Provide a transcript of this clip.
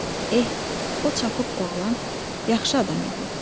Eh, o çapıq oğlan yaxşı adam idi.